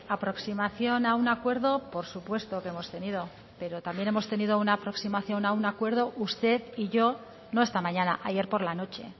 aproximación a un acuerdo por supuesto que hemos tenido pero también hemos tenido una aproximación a un acuerdo usted y yo no esta mañana ayer por la noche